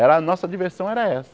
Era... Nossa diversão era essa.